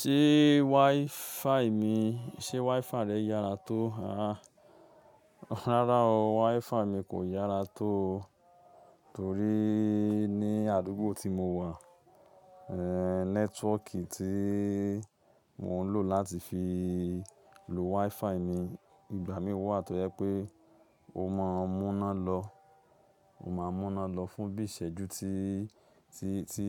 Ṣé Wi-Fi mi, ṣe Wi-Fi rẹ yára tó? Rárá o, Wi-Fi mi kò yára tó torí ní àdúgbò tí mo wà, eh network tí mo ń lò láti fi lo Wi-Fi ni ìgbà mí wà tó yẹ pé ó máa múná lọ, ó máa múná lọ fún bí ìsẹ́jú tí, tí, tí